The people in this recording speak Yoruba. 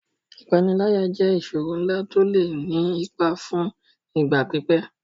Ìpániláyà jẹ́ ìṣòro ńlá tó lè ní ipa fún ìgbà pípẹ́.